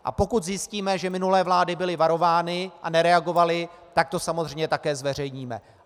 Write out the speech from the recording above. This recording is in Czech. A pokud zjistíme, že minulé vlády byly varovány a nereagovaly, tak to samozřejmě také zveřejníme.